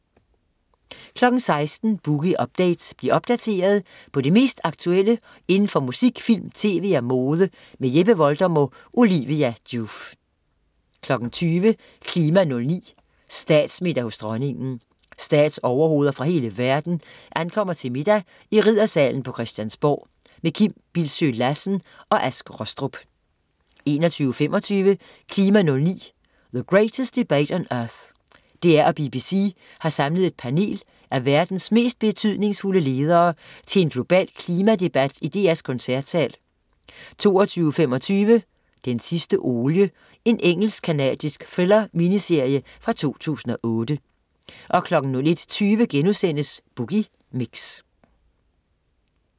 16.00 Boogie Update. Bliv opdateret på det mest aktuelle inden for musik, film, tv og mode. Jeppe Voldum og Olivia Joof 20.00 KLIMA 09: Statsmiddag hos Dronningen. Statsoverhoveder fra hele verden ankommer til middag i Riddersalen på Christiansborg. Kim Bildsøe Lassen og Ask Rostrup 21.25 KLIMA 09: The Greatest Debate on Earth. DR og BBC har samlet et panel af verdens mest betydningsfulde ledere til en global klimadebat i DR's koncertsal 22.25 Den sidste olie. Engelsk-canadisk thriller-miniserie fra 2008 01.20 Boogie Mix*